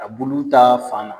A bulu ta fan